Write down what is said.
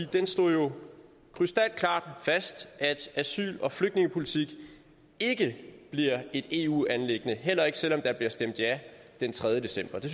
den slog jo krystalklart fast at asyl og flygtningepolitik ikke bliver et eu anliggende heller ikke selv om der bliver stemt ja den tredje december det